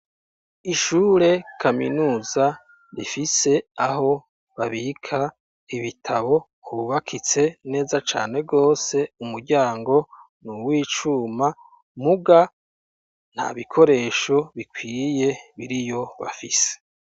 Ishure kaminuza rifise aho babika ibitabo hububakitse neza cane gose umuryango nuw'icuma muga nta bikoresho bikwiye biriyo bafise